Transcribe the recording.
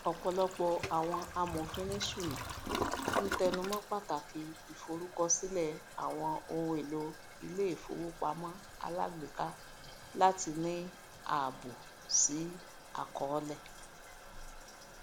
ọpọlọpọ àwọn amòfinìṣúná ń tẹnumọ pàtàkì ìforúkọsílẹ àwọn ohun èlò iléifowopamọ alágbèéká láti ní ààbò sí àkọọlẹ